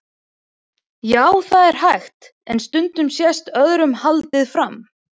Já, það er hægt, en stundum sést öðru haldið fram.